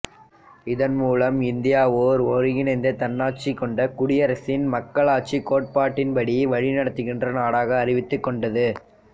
இதன் மூலம் இந்தியா ஓர் ஒருங்கிணைந்த தன்னாட்சி கொண்ட குடியரசின் மக்களாட்சிக் கோட்பாட்டின்படி வழிநடத்துகின்ற நாடாக அறிவித்துக் கொண்டது